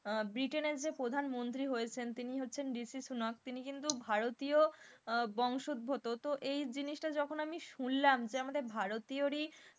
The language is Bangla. আহ ব্রিটেন যে প্রধানমন্ত্রী হয়েছেন তিনি হচ্ছেন তিনি কিন্তু ভারতীয় আহ বংশোদ্ভগত তো এই জিনিসটা যখন আমি শুনলাম যে আমাদের ভারতীয়রই,